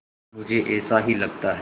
मुझे ऐसा ही लगता है